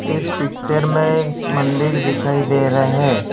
इस पिक्चर में मंदिर दिखाई दे रहा है।